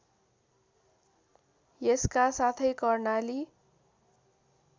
यसका साथै कर्णाली